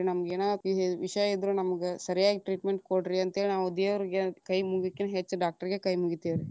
ನಮ್ಗ ಏನ ವಿ~ ವಿಷಯ ಇದ್ರ ನಮ್ಗ ಸರಿಯಾಗಿ treatment ಕೊಡ್ರಿ ಅಂತ ಹೇಳಿ ನಾವು ದೇವರಿಗೆ ಕೈ ಮುಗಿಯೊಕಿಂತ ಹೆಚ್ಚ doctor ಗೆ ಕೈ ಮುಗಿತೇವ್ರಿ.